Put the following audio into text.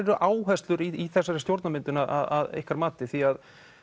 eru áherslur í þessari stjórnarmyndun að ykkar mati því